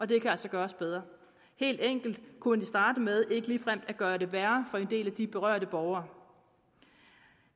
det kan altså gøres bedre helt enkelt kunne vi starte med ikke ligefrem at gøre det værre for en del af de berørte borgere